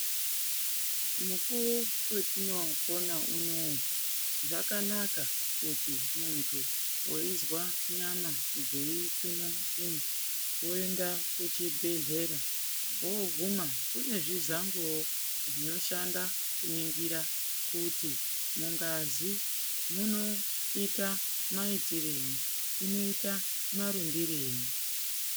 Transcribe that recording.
Mukuwo wetinopona unouyu zvakanaka kuti muntu weizwa nyama dzeitsuna tsuna weindaa kuchibhedhlera woogumaa kune zvizango zvinoshanda kuningira kuti mungazi munoita maitirei, inoita marumbirei.